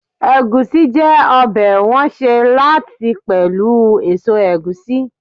Egusi je obe won se lati pelu eso egusi